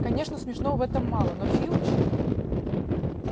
конечно смешного в этом мало но филч